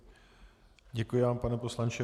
Děkuji vám, pane poslanče.